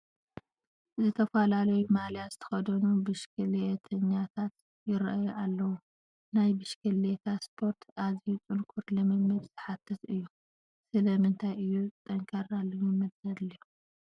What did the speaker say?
ዝተፈላለየ ማልያ ዝተኸደኑ ብሽክሌተኛታት ይርአዩ ኣለዉ፡፡ ናይ ብሽክሌታ ስፖርቲ ኣዝዩ ጥንኩር ልምምድ ዝሓትት እዩ፡፡ ስለ ምንታይ እዩ ጠንካራ ልምምድ ዘድልዮ?